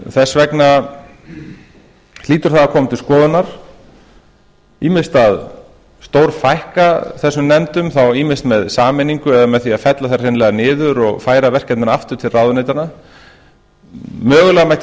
þess vegna hlýtur það að koma til skoðunar ýmist að stórfækka þessum nefndum þá ýmist með sameiningu eða með því að fella þær hreinlega niður og færa verkefnin aftur til ráðuneytanna mögulega mætti